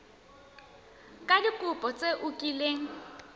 ka dikopo tse o kileng